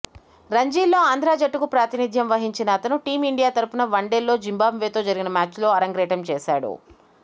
రంజీల్లో ఆంధ్రా జట్టుకు ప్రాతినిధ్యం వహించిన అతను టీం ఇండియా తరఫున వనే్డల్లో జింబాబ్వేతో జరిగిన మ్యాచ్లో ఆరంగేట్రం చేశాడు